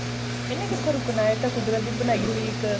ਇੰਨੇ ਕਿੱਥੇ ਰੁਕਨਾ ਇਹ ਤਾਂ ਕੁਦਰਤ ਦੀ ਬਣਾਈ ਹੋਈ ਇੱਕ